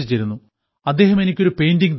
അദ്ദേഹം എനിക്ക് ഒരു പെയിന്റിംഗ് തന്നു